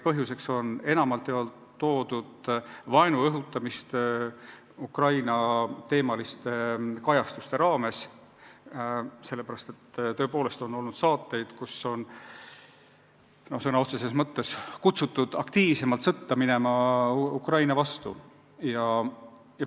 Põhjuseks on enamalt jaolt toodud vaenu õhutamist Ukraina-teemaliste kajastuste raames, sest tõepoolest on olnud saateid, kus on sõna otseses mõttes kutsutud minema sõtta Ukraina vastu.